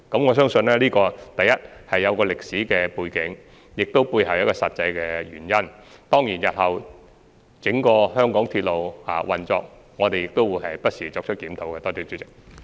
我相信這個問題有其歷史背景，背後亦有實際原因，當然，我們亦會不時檢討香港整個鐵路系統日後的運作情況。